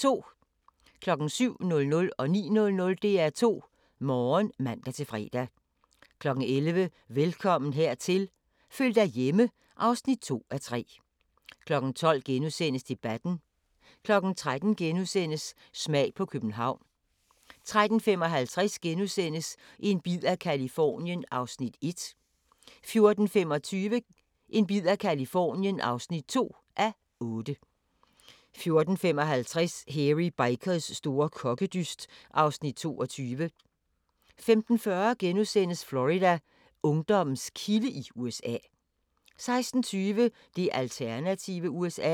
07:00: DR2 Morgen (man-fre) 09:00: DR2 Morgen (man-fre) 11:00: Velkommen hertil – føl dig hjemme (2:3) 12:00: Debatten * 13:00: Smag på København * 13:55: En bid af Californien (1:8)* 14:25: En bid af Californien (2:8) 14:55: Hairy Bikers store kokkedyst (Afs. 22) 15:40: Florida: Ungdommens kilde i USA * 16:20: Det alternative USA